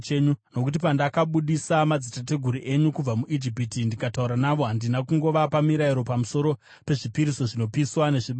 Nokuti pandakabudisa madzitateguru enyu kubva muIjipiti ndikataura navo, handina kungovapa mirayiro pamusoro pezvipiriso zvinopiswa nezvibayiro,